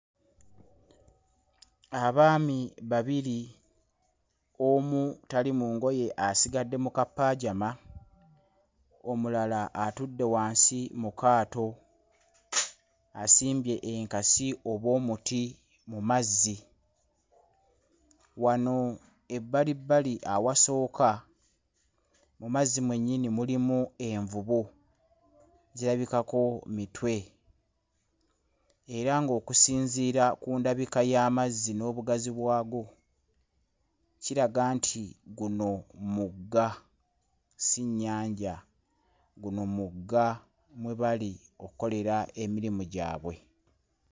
Abaami babiri omu tali mu ngoye asigadde mu kapajaama, omulala atudde wansi mu kaato asimbye enkasi oba omuti mu mazzi. Wano ebbalibbali ewasooka mu mazzi mwennyini mulimu envubu, zirabikako mitwe. Era ng'okusinziira ku ndabika y'amazzi n'obugazi bwago, kiraga nti guno mugga, si nnyanja. Guno mugga mwe bali okukolera ekirimu gyabwe.